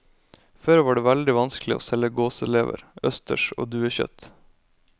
Før var det veldig vanskelig å selge gåselever, østers og duekjøtt.